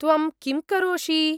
त्वं किं करोषि?